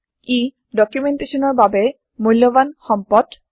ই ডকোমেন্টেচনৰ বাবে মূল্যৱান সম্পদ